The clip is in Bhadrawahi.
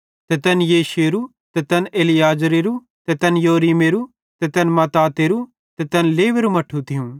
ते तै येशूएरू ते तैन एलीएजेरेरू ते तैन योरीमेरू ते तैन मत्तातेरू ते तैन लेवेरु मट्ठू थियूं